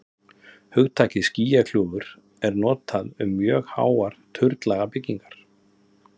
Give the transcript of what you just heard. hugtakið skýjakljúfur er notað um mjög háar turnlaga byggingar